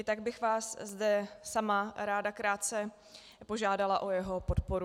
I tak bych vás zde sama ráda krátce požádala o jeho podporu.